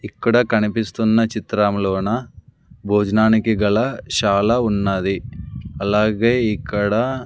ఇక్కడ కనిపిస్తున్న చిత్రములోన భోజనానికి గల శాల ఉన్నది అలాగే ఇక్కడ--